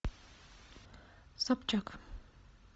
собчак